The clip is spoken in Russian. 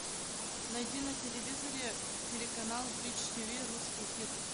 найди на телевизоре телеканал бридж тв русский хит